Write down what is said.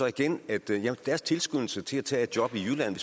igen at deres tilskyndelse til at tage et job i jylland